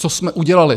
Co jsme udělali?